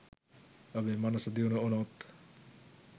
ඔබේ මනස දියුණු වුණොත්